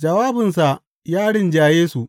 Jawabinsa ya rinjaye su.